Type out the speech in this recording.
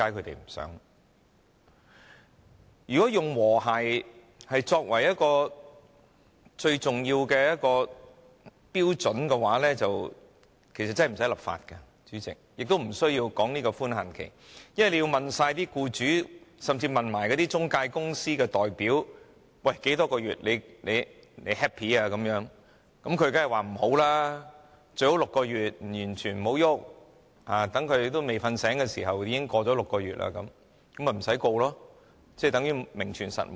主席，如果以和諧作為一個最重要的標準，其實便不需要立法，亦不需要討論寬限期，因為如果要詢問所有僱主甚至中介公司的代表多少個月的檢控時限他們才覺滿意，他們當然會說最好是6個月，完全不要改動，一下子便已經過了6個月，那他們便不會被控告，法例等於名存實亡。